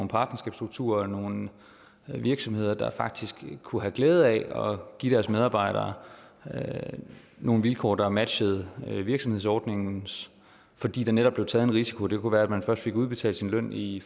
partnerskabsstrukturer og nogle virksomheder der faktisk kunne have glæde af at give deres medarbejdere nogle vilkår der matchede virksomhedsordningens fordi der netop blev taget en risiko det kunne være at man først fik udbetalt sin løn i